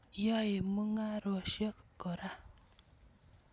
Yae mung'arosyek kora.